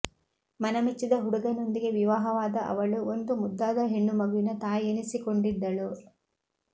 ಮನ ಮೆಚ್ಚಿದ ಹುಡುಗನೊಂದಿಗೆ ವಿವಾಹವಾದ ಅವಳು ಒಂದು ಮುದ್ದಾದ ಹೆಣ್ಣುಮಗುವಿನ ತಾಯಿಯೆನಿಸಿಕೊಂಡಿದ್ದಳು